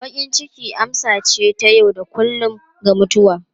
Bakin ciki amsa ce ta yau da kullun ga mutuwa.